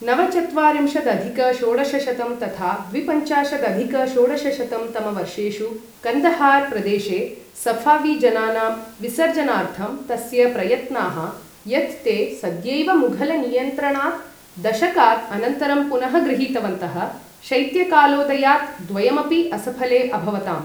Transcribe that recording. नवचत्वारिंशदधिक षोडशशतं तथा द्विपञ्चाशदधिक षोडशशतं तमवर्षेषु कन्दहार् प्रदेशे सऴावी जनानाम् विसर्जनार्थं तस्य प्रयत्नाः, यत् ते सद्यैव मुघलनियन्त्रणात् दशकात् अनन्तरं पुनः गृहीतवन्तः, शैत्यकालोदयात् द्वयमपि असफले अभवताम्।